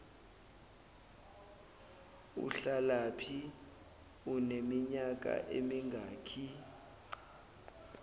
uhlalaphi uneminyaka emingaki